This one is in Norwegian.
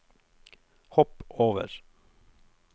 hopp over